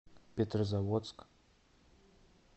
петрозаводск